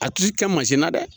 A ti kɛ masin na dɛ